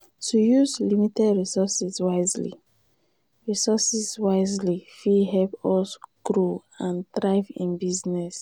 to use limited resources wisely resources wisely fit help us grow and thrive in business.